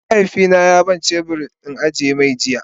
mahaifi na ya bani shebur in agi-mai jiya.